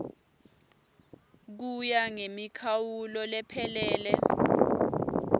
kuya ngemikhawulo lephelele